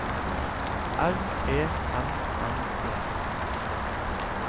R E M M E